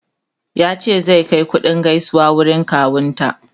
ya ce zai Kai kuɗin gaisuwa wurin kawun ta